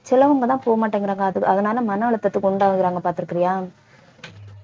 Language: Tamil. சிலவங்க தான் போக மாட்டேங்கிறாங்க அத~ அதனால மன அழுத்தத்துக்கு உண்டாகுறாங்க பார்த்திருக்கியா